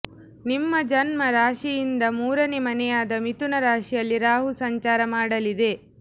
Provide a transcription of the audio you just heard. ನಿಮ್ಮ ಜನ್ಮ ರಾಶಿಯಿಂದ ಮೂರನೇ ಮನೆಯಾದ ಮಿಥುನ ರಾಶಿಯಲ್ಲಿ ರಾಹು ಸಂಚಾರ ಮಾಡಲಿದೆ